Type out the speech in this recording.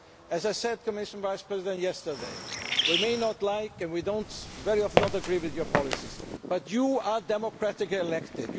As I said, Commission Vice President, yesterday, we may not like and we very often disagree with your policies, but you are democratically elected.